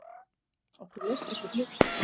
Okkur leist ekki á blikuna.